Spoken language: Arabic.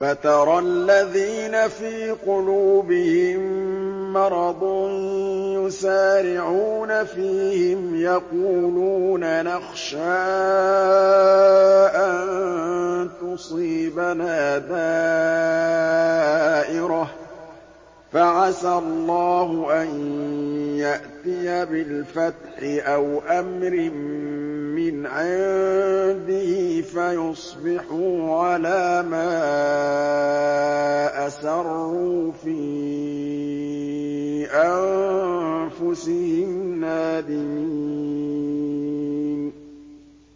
فَتَرَى الَّذِينَ فِي قُلُوبِهِم مَّرَضٌ يُسَارِعُونَ فِيهِمْ يَقُولُونَ نَخْشَىٰ أَن تُصِيبَنَا دَائِرَةٌ ۚ فَعَسَى اللَّهُ أَن يَأْتِيَ بِالْفَتْحِ أَوْ أَمْرٍ مِّنْ عِندِهِ فَيُصْبِحُوا عَلَىٰ مَا أَسَرُّوا فِي أَنفُسِهِمْ نَادِمِينَ